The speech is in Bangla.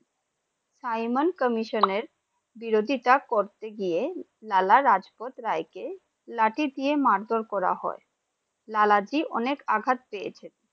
Simon Comission এর বিরোধিতা করতে গিয়ে লাল লাজপত রায় কে লাঠি দিয়ে মারধর করা হয়, লাল জি অনেক আঘাত পেয়েছেন ।